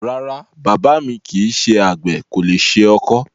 Rárá, bàbá mi kìí ṣe àgbè, kò le ṣe ọkọ́.